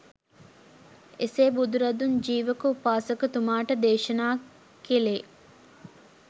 එසේ බුදුරදුන් ජීවක උපාසකතුමාට දේශනා කෙළේ